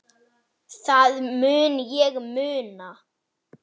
Sá á að heita Agnes.